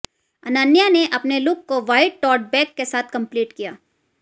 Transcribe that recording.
अनन्या ने अपने लुक को व्हाइट टोट बैग के साथ कंप्लीट किया